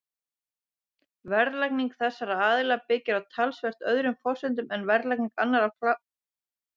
Verðlagning þessara aðila byggir á talsvert öðrum forsendum en verðlagning annarra framleiðenda neysluvarnings.